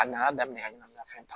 A nana daminɛ ka ɲɛnɛmaya fɛn ta